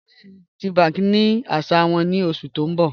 Bẹẹni, GTBank ní ọ̀ṣẹ àṣà wọn ni oṣù tí n bọ́